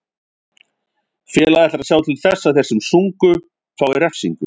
Félagið ætlar að sjá til þess að þeir sem sungu fái refsingu.